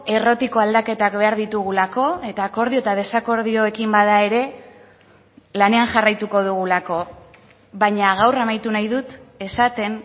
errotiko aldaketak behar ditugulako eta akordio eta desakordioekin bada ere lanean jarraituko dugulako baina gaur amaitu nahi dut esaten